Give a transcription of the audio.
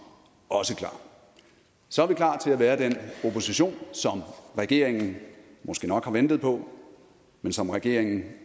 også klar så er vi klar til at være den opposition som regeringen måske nok har ventet på men som regeringen